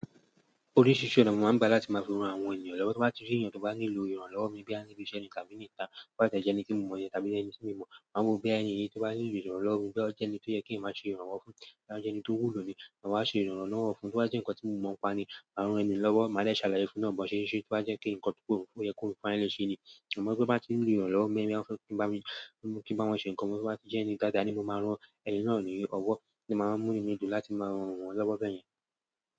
Oríṣiríṣi ọ̀nà mo máa ń gbà láti máa fi ran àwọn ènìyàn lọ́wọ́, tí mo bá ti rí èeyàn tó bá nílò ìrànlọ́wọ́ mi boya ni ibi iṣẹ́ ni tàbí ni ita, to ba ti e je ẹni ti mo mo ni tàbí ẹni ti mi o mo, ma wo pe boya ẹni yi to ba ni lo ìrànlọ́wọ́ mi boya o je ẹni ti oye kin ma se ìrànwọ́ fún. Bóya o jẹ́ ẹni tó wù ló ni, maa wa ṣe ìrànlọ́wọ́ fún, to bá jẹ́ nǹkan tí mo mọ̀ npa ni, maa ran ẹni lọ́wọ́ máa dè ṣàlàyé fún náà bó ṣe n ṣe to bá jẹ́ kí ǹkan tó wù kó yẹ kó rùn fún ẹni lè ṣe ni. Amọ̀ bí wọ́n bá ti ń rí ìrànlọ́wọ́ mi, bí wọ́n fẹ́ kí n bá wọn ṣe ǹkan, bí wọ́n bá ti jẹ́ ẹni dáadáa ni mo máa rán ẹni náà ní ọwọ́, ni màá mú ìnù mi dùn láti máa rán wọn lọ́wọ́ bẹ́ẹ̀ yẹn.